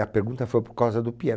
A pergunta foi por causa do piano.